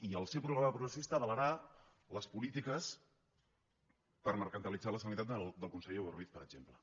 i el seu programa progressista avalarà les polítiques per mercantilitzar la sanitat del conseller boi ruiz per exemple